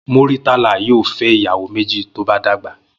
Múrítàlà yóò fé̩ ìyàwó méjì bí ó bá dàgbà